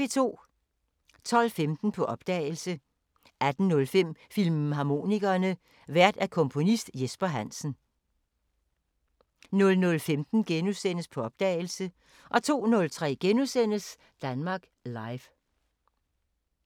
12:15: På opdagelse 18:05: Filmharmonikerne: Vært komponist Jesper Hansen 00:15: På opdagelse * 02:03: Danmark Live *